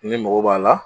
Ni mago b'a la